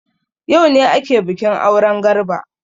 Yaune ake bikin auren Garba.